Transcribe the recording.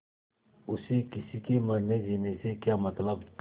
उसे किसी के मरनेजीने से क्या मतलब